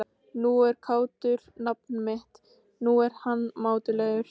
Nú er kátur nafni minn, nú er hann mátulegur.